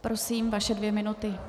Prosím, vaše dvě minuty.